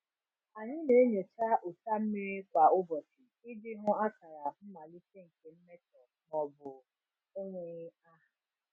Anyị na-enyocha ụcha mmiri kwa ụbọchị iji hụ akara mmalite nke mmetọ maọbụ enweghị aha.